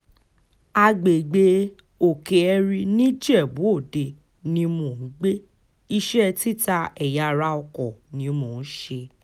àgbègbè òkè-ẹ̀rí nìjẹ́bù-ọdẹ ni mò ń gbé iṣẹ́ títa ẹ̀yà-ara oko ni mò ń ṣe